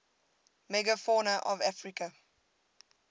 megafauna of africa